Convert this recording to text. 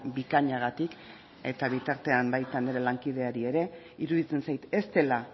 bikainagatik eta bitartean baita nire lankideari ere iruditzen zait ez dela